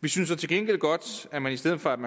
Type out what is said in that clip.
vi synes til gengæld godt at man i stedet for at